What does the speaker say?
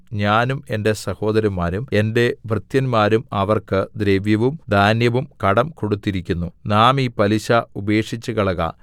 ഞാനും എന്റെ സഹോദരന്മാരും എന്റെ ഭൃത്യന്മാരും അവർക്ക് ദ്രവ്യവും ധാന്യവും കടം കൊടുത്തിരിക്കുന്നു നാം ഈ പലിശ ഉപേക്ഷിച്ചുകളക